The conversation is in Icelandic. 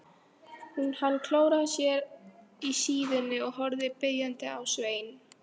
Hann klóraði sér í síðunni og horfði biðjandi á Svein.